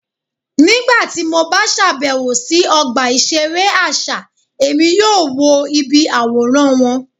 Nigbati mo ba ṣabẹwo si ọgba iṣere aṣa, Emi yoo wo ibi aworan wọn